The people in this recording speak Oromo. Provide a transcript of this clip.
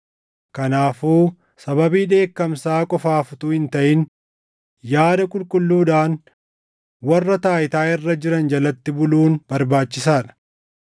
Kanaafuu sababii dheekkamsaa qofaaf utuu hin taʼin, yaada qulqulluudhaan warra taayitaa irra jiran jalatti buluun barbaachisaa dha.